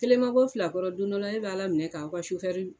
Kelen ma bɔ filakɔrɔ don dɔ la e b'ala minɛ k'aw ka sofɛri.